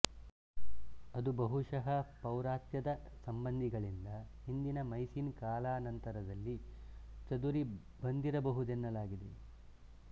ಅದು ಬಹುಶಃ ಪೌರಾತ್ಯದ ಸಂಬಂಧಿಗಳಿಂದ ಹಿಂದಿನ ಮೈಸಿನ್ ಕಾಲಾಂನಂತರದಲ್ಲಿ ಚದುರಿ ಬಂದಿರಬಹುದೆನ್ನಲಾಗಿದೆ